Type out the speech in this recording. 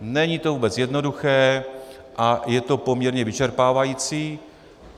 Není to vůbec jednoduché a je to poměrně vyčerpávající.